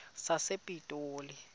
sasepitoli